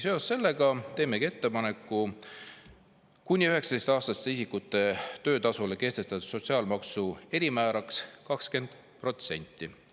Seoses sellega teemegi ettepaneku kehtestada kuni 19‑aastaste isikute töötasule sotsiaalmaksu erimääraks 20%.